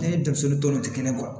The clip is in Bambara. Ne ni denmisɛnnin dɔw tɛ kelen ye